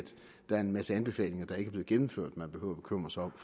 der er en masse anbefalinger der ikke er blevet gennemført man behøver at bekymre sig om